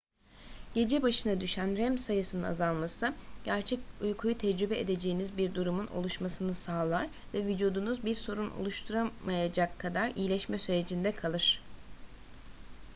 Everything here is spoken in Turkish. gece başına düşen rem sayısının azalması gerçek uykuyu tecrübe edeceğiniz bir durumun oluşmasını sağlar ve vücudunuz bir sorun oluşturamayacak kadar iyileşme sürecinde kalır